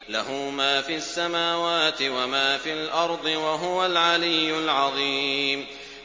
لَهُ مَا فِي السَّمَاوَاتِ وَمَا فِي الْأَرْضِ ۖ وَهُوَ الْعَلِيُّ الْعَظِيمُ